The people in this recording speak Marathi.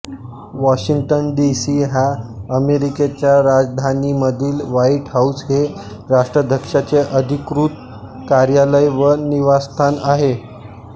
वॉशिंग्टन डी सी ह्या अमेरिकेच्या राजधानीमधील व्हाइट हाउस हे राष्ट्राध्यक्षाचे अधिकृत कार्यालय व निवासस्थान आहे